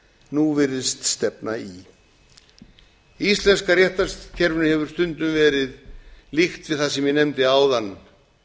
nú virðist stefna í íslenska réttarkerfið hefur stundum verið líkt við það sem ég nefndi áðan